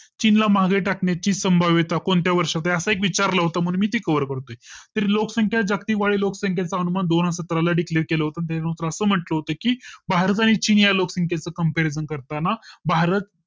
चीन ला मागे टाकण्या ची संभाव्यता कोणत्या वर्षाच्या एक विचारलं होतं मी ते Cover करतोय तर लोकसंख्या जगती वाडी लोकसंख्या अनुमान दोन हजार सतरा ला Declare केलं तेव्हा असं म्हटले होते की भारत आणि चीनच्या लोकसंख्येत Compariosn करताना भारत